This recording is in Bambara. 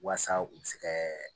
Walasa u bɛ se ka